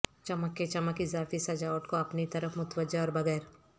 چمک کے چمک اضافی سجاوٹ کو اپنی طرف متوجہ اور بغیر